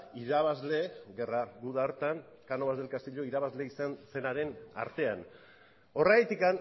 irabazle gerra guda hartan cánovas del castillo irabazle izan zenaren artean horregatik